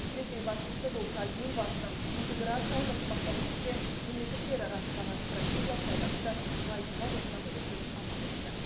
ресей басшысы болса елбасының интеграциялық ынтымақтастық пен мемлекеттер арасындағы стратегиялық байланысты нығайтуға қосқан үлесін атап өтті